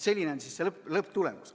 Selline on lõpptulemus.